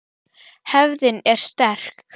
Hefðin er sterk.